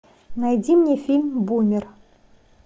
найди мне фильм бумер